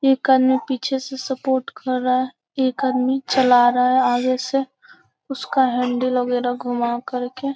एक आदमी पीछे से सपोर्ट कर रहा है एक आदमी चला रहा है आगे से उसका हैंडल वैगरह घुमा कर के।